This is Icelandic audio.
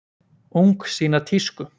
Ung sýna tísku